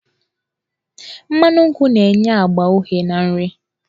Mmanụ nkwụ na-enye agba uhie na nri.